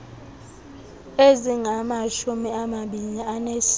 ezingamashumi amabini anesine